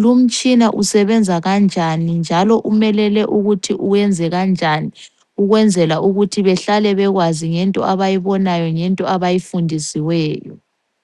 lumtshina usebenza kanjani njalo umelele ukuthi wenze kanjani ukwenzela ukuthi behlale bekwazi ngento abayibonayo ngento abayifundisiweyo.